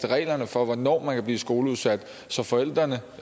reglerne for hvornår man kan blive skoleudsat så forældrene